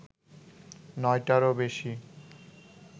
নয়টারও বেশি